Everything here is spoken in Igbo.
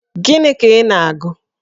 Gini ka ị na-agụ?